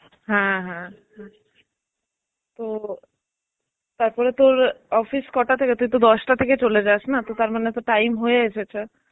হ্যাঁ হ্যাঁ হ্যাঁ, তো তারপরে তোর office কটা থেকে? তুই তো দশটা থেকে চলে যাস না তারমানে তো time হয়ে এসেছে.